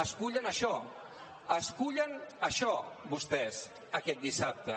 escullen això escullen això vostès aquest dissabte